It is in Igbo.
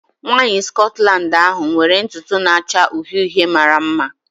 Nwanyị Scotland ahu nwere ntutu na-acha uhie uhie mara mma.